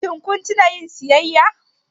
Shin kun tuna yin siyayya?